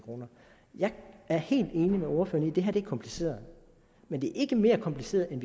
jeg er helt enig med ordføreren i at det her er kompliceret men det er ikke mere kompliceret end